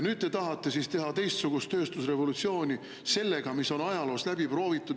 Nüüd te tahate teha teistsugust tööstusrevolutsiooni sellega, mis on ajaloos läbi proovitud.